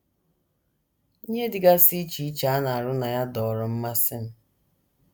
“ Ihe dịgasị iche iche a na - arụ na ya dọọrọ mmasị m.